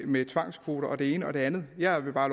med tvangskvoter og det ene og det andet jeg vil bare